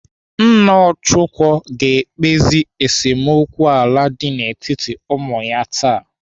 Nna Ọchụko ga-ekpezi esemokwu ala dị n'etiti ụmụ ya taa.